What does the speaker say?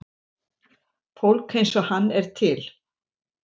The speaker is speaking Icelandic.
Fólk eins og hann er til.